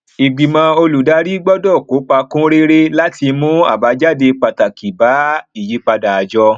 ìgbìmọ olùdarí gbọdọ kópa kúnréré láti mú àbájáde pàtàkì bá ìyípadà àjọ